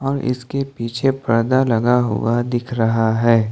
ये इसके पीछे पर्दा लगा हुआ दिख रहा है।